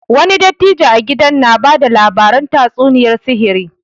Wani dattijo a gidan na bada labaran tatsuniyar sihiri